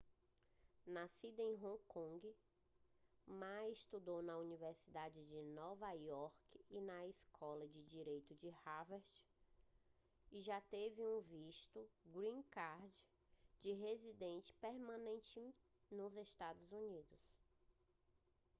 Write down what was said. nascido em hong kong ma estudou na universidade de nova iorque e na escola de direito de harvard e já teve um visto green card de residente permanente nos estados unidos